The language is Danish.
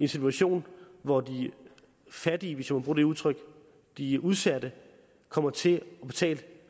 en situation hvor de fattige hvis jeg må bruge det udtryk de udsatte kommer til at betale